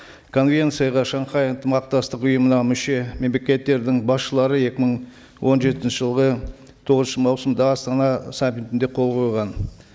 конвенцияға шанхай ынтымақтастық ұйымына мүше мемлекеттердің басшылары екі мың он жетінші жылғы тоғызыншы маусымда астана саммитінде қол қойған